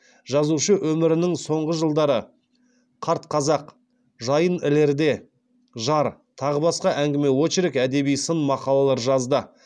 жазушы өмірінің соңғы жылдары қарт қазақ жайын ілерде жар тағы басқа әңгіме очерк әдеби сын мақалалар жазды